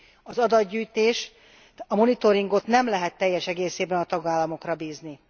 Az adatgyűjtést, monitoringot nem lehet teljes egészében a tagállamokra bízni.